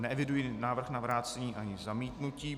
Neeviduji návrh na vrácení ani zamítnutí.